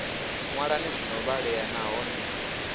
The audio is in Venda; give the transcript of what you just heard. ṅwalani zwi no vhalea nahone